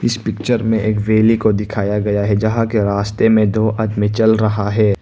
इस पिक्चर में एक वैली को दिखाया गया है जहां के रास्ते में दो आदमी चल रहा है।